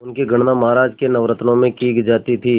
उनकी गणना महाराज के नवरत्नों में की जाती थी